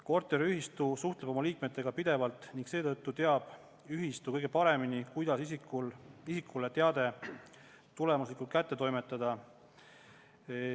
Korteriühistu suhtleb oma liikmetega pidevalt ning seetõttu teab ühistu kõige paremini, kuidas isikule teade tulemuslikult kätte toimetada.